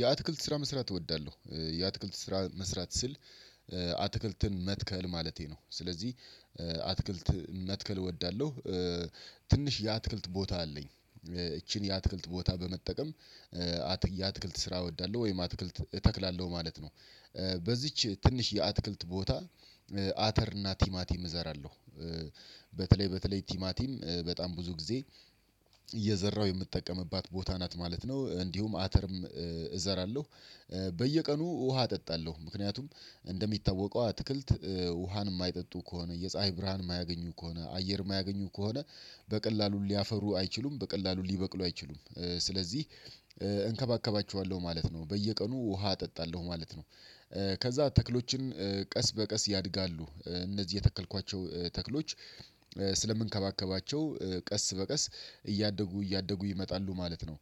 የአትክልት ስራ መስራት እወዳለሁ የአትክልት ስራ መስራት ስል አትክልትን መትከል ማለቴ ነው። ስለዚህ አትክልት መትከል እወዳለሁ። ትንሽ የአትክልት ቦታ አለኝ ይቺን የአትክልት ቦታ በመጠቀም የአትክልት ስራ እወዳለሁ ወይም አትክልት እተክላለሁ ማለት ነው። በዚች ትንሽ የአትክልት ቦታ አተር እና ቲማቲም እዘራለሁ። በተለይ በተለይ ቲማቲም በጣም ብዙ ጊዜ እየዘራሁ የምጠቀምባት ቦታ ናት ማለት ነው። እንዲሁም አተርም እዘራለሁ። በየቀኑ ውሃ አጠጣለሁ ምክንያቱም እንደሚታወቀው አትክልት ውሃን የማይጠጡ ከሆነ የፀሀይ ብርሃን የማያገኙ ከሆነ አየር የማያገኙ ከሆነ በቀላሉ ሊያፈሩ አይችሉም በቀላሉ ሊበቅሉ አይችሉም። ስለዚህ እንከባከባቸዋለሁ ማለት ነው በየቀኑ ውሃ አጠጣለሁ ማለት ነው። ከዛ ተክሎችን ቀስ በቀስ ያድጋሉ። እነዚህ የተከልኳቸው ተክሎች ስለምንከባከባቸው ቀስ በቀስ እያደጉ እያደጉ ይመጣሉ ማለት ነው።